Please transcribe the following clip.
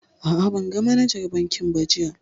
A'a, ban ga manajar bankin ba jiya